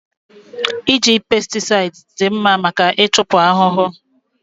Iji pesticides dị mma maka ịchupụ ahụhụ